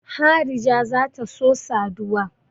Harija za ta so saduwa.